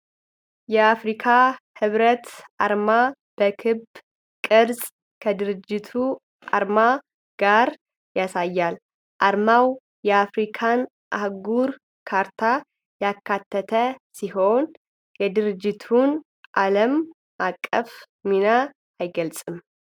የአፍሪካ ህብረት አርማ በክብ ቅርጽ ከድርጅቱ አርማ ጋር ያሳያል፤ አርማው የአፍሪካን አህጉር ካርታ ያካተተ ሲሆን የድርጅቱን ዓለም አቀፍ ሚና አይገልጽም?